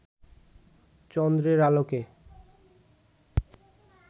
চন্দ্রের আলোকে